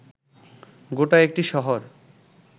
গোটা একটি শহর